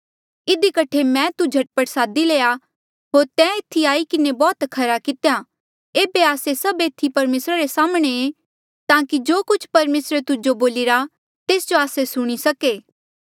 इधी कठे मैं तू झट पट सादी लया होर तैं एथी आई किन्हें बौह्त खरा कितेया एेबे आस्से सभ एथी परमेसरा रे साम्हणें ऐें ताकि जो कुछ परमेसरे तुजो बोलिरा तेस जो आस्से सुणी सके